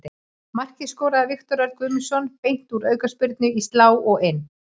Markið skoraði Viktor Örn Guðmundsson beint úr aukaspyrnu, í slá og inn.